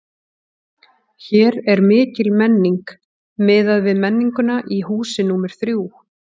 Hér er mikil menning, miðað við menninguna í húsi númer þrjú.